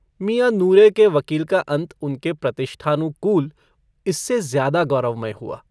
मियाँ नूरे के वकील का अन्त उनके प्रतिष्ठानुकूल इससे ज्यादा गौरवमय हुआ।